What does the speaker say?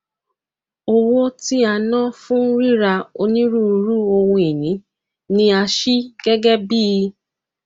owó tí a ná fún ríra onírúurú ohunìní ni a ṣí gẹgẹ bíi